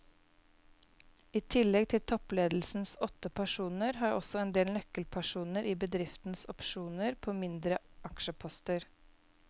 I tillegg til toppledelsens åtte personer har også en del nøkkelpersoner i bedriften opsjoner på mindre aksjeposter.